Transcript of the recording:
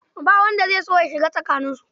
Ba wanda zai so shiga tsakaninsu.